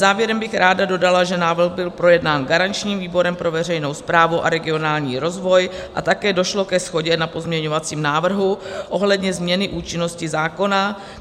Závěrem bych ráda dodala, že návrh byl projednán garančním výborem pro veřejnou správu a regionální rozvoj a také došlo ke shodě na pozměňovacím návrhu ohledně změny účinnosti zákona.